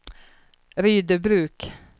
Rydöbruk